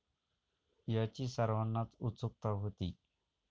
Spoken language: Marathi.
याची सर्वांनाच उत्सुकता होती.